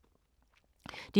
DR K